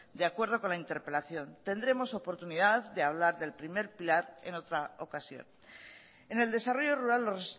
de acuerdo con la interpelación tendremos oportunidad de hablar del primer plan en otra ocasión en el desarrollo rural los